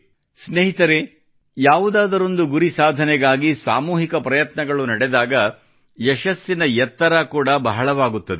ಸ್ನೇಹಿತರೇ ಯಾವುದಾದರೊಂದು ಗುರಿ ಸಾಧನೆಗಾಗಿ ಸಾಮೂಹಿಕ ಪ್ರಯತ್ನಗಳು ನಡೆದಾಗ ಯಶಸ್ಸಿನ ಎತ್ತರ ಕೂಡಾ ಬಹಳವಾಗುತ್ತದೆ